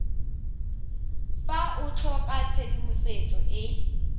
fa o tlhoka tshedimosetso e